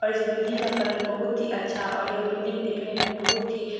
और इस बिल्डिंग का कलर बहुत ही अच्छा और यह बिल्डिंग देखने में बहुत ही --